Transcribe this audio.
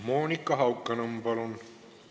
Monika Haukanõmm, palun!